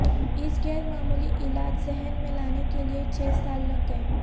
اس غیر معمولی علاج ذہن میں لانے کے لیے چھ سال لگ گئے